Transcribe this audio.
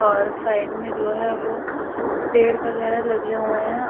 और साइड में जो है वो पेड़ वैगरह लगे हुए हैं।